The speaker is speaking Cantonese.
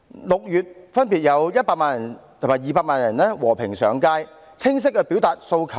6月分別有100萬人和200萬人和平上街，清晰地表達訴求。